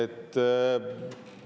Teiega ka.